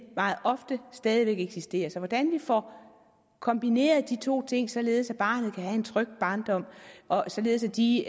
meget ofte stadig væk eksisterer så hvordan vi får kombineret de to ting således at barnet kan have en tryg barndom og således at de